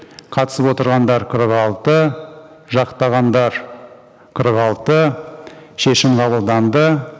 қатысып отырғандар қырық алты жақтағандар қырық алты шешім қабылданды